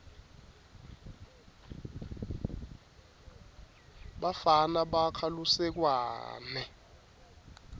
bafana bakha lusekwane